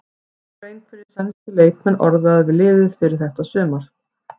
Það voru einhverjir sænskir leikmenn orðaðir við liðið fyrir þetta sumar?